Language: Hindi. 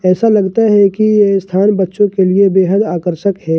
ऐसा लगता है कि ये स्थान बच्चों के लिए बेहद आकर्षक है।